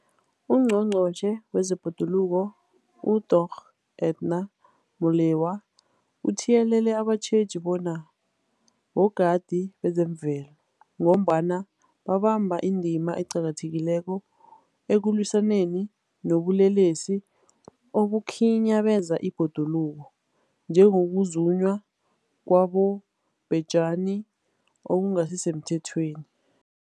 UNgqongqotjhe wezeBhoduluko uDorh Edna Molewa uthiyelele abatjheji bona bogadi bezemvelo, ngombana babamba indima eqakathekileko ekulwisaneni nobulelesi obukhinyabeza ibhoduluko, njengokuzunywa kwabobhejani okungasisemthethweni.